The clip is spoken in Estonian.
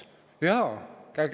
Jaa!